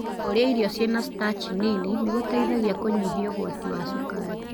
Kũrĩa irio ciina starch nini nĩgũteithagia kũnyihia ũgwati wa cukari.